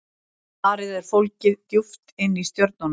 svarið er fólgið djúpt inni í stjörnunum